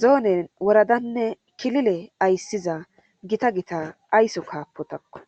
zoonen woradanne kilile ayssiza gita gita ayso kaapotakko